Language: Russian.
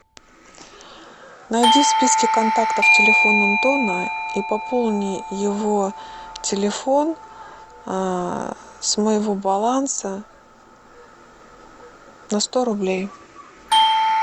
найди в списке контактов телефон антона и пополни его телефон с моего баланса на сто рублей